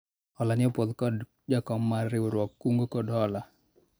hola ni opwodhi kod jakom mar riwruog kungo kod hola